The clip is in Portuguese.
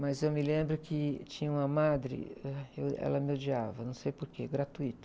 Mas eu me lembro que tinha uma madre, ah, que eu, ela me odiava, não sei o porquê, gratuito.